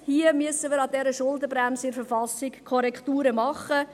Wir müssen an der Schuldenbremse in der Verfassung Korrekturen vornehmen.